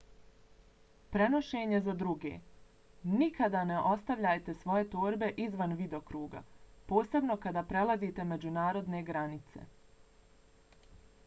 prenošenje za druge - nikada ne ostavljajte svoje torbe izvan vidokruga posebno kada prelazite međunarodne granice